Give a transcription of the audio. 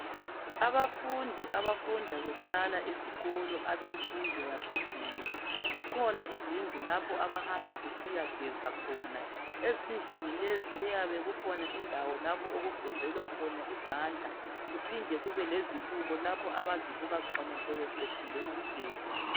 Abafundi abafunda behlala esikolo Abe mfundo yaphezulu zikhona izindlu lapho aba hamba besiya geza khona ezindlini lezi kuyabe kukhona indawo lapha okugezelwa khona izandla kuphinde kube lezibuko lapho abazibuka khona sebeqendile ukugeza